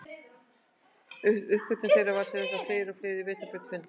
Uppgötvun þeirra varð til þess að fleiri og fleiri vetrarbrautir fundust.